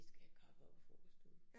Vi skal have kaffe oppe i frokoststuen